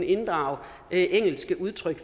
inddrage engelske udtryk